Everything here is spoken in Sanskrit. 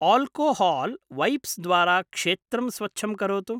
आल्कोहाल्वैप्स्द्वारा क्षेत्रं स्वच्छं करोतु।